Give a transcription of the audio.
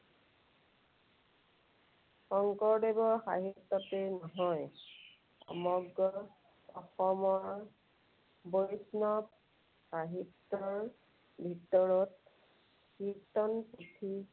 শঙ্কৰদেৱৰ সাহিত্যতেই নহয়, সমগ্ৰ অসমৰ বৈষ্ণৱ সাহিত্যৰ ভিতৰত কীৰ্ত্তন পুথি